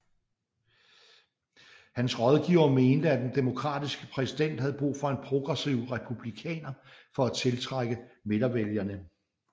Hans rådgivere mente at den Demokratiske præsident havde brug for en progressiv Republikaner for at tiltrække midtervælgere